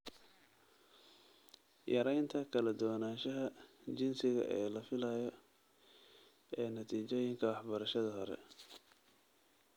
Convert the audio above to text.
Yaraynta kala duwanaanshaha jinsiga ee la filayo ee natiijooyinka waxbarashada hore